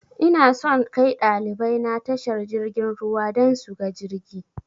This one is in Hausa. Inason kai ɗalibai na tashar jirgin ruwa dan suga jirgi